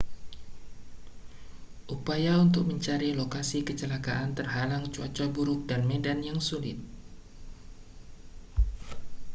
upaya untuk mencari lokasi kecelakaan terhalang cuaca buruk dan medan yang sulit